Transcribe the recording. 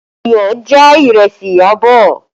Iyọ̀ já ìrẹsì Iyabọ̀